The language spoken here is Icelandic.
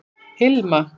Hilma